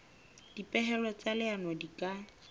dipehelo tsa leano di ka